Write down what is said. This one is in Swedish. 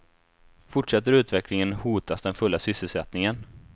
Fortsätter utvecklingen hotas den fulla sysselsättningen.